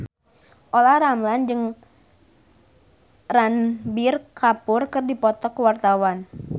Olla Ramlan jeung Ranbir Kapoor keur dipoto ku wartawan